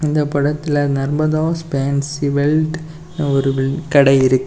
இந்த படத்துல Narmada's fancy belt ஒரு கடை இருக்கு.